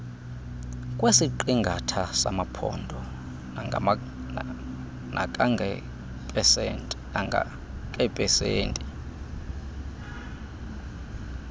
kwesiqingatha samaphondo nakangangeepesenti